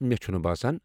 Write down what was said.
مےٚ چھُنہٕ باسان۔